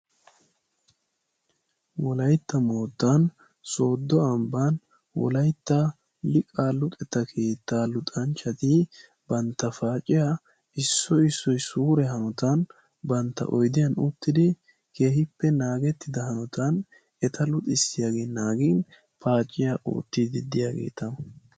Wolaytta moottan soodo ambban Wolaytta liiqa luxanchchati bantta paaciyaa issoy issoy suure hanotan bantta oyddiyan uttidi keehippe naagettida hanotan eta luxissiyaage naagin paaciyaa oottidi diyaageeta.